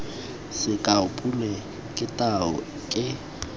sekao pule ke tau ke